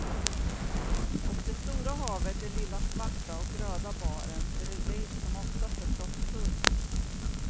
Och det stora havet är lilla svarta och röda baren bredvid som oftast är proppfull.